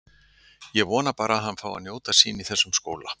Ég vona bara að hann fái að njóta sín í þessum skóla.